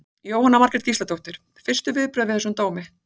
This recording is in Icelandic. Jóhanna Margrét Gísladóttir: Fyrstu viðbrögð við þessum dómi?